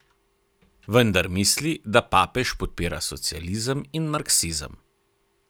Vendar misli, da papež podpira socializem in marksizem.